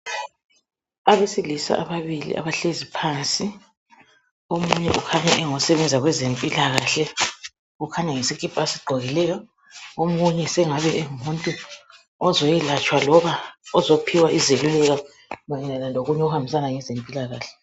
Abesilisa ababili abahlezi phansi omunye ukhanya engosebenza kwezempilakahle ukhanya ngesikipha asigqokileyo omunye sengabe engumuntu ozokwelatshwa loba ozophiwa izeluleko mayelana kokunye okuhambisana lezempilakahle.